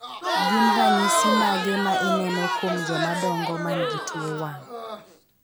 Gin ranyisi mage ma ineno kuom joma dongo man gi tuo wang'